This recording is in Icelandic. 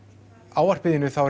ávarpi þínu